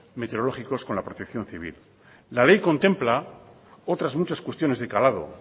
meteorológicos con la protección civil la ley contempla otras muchas cuestiones de calado